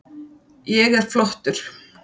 Ég er flottur.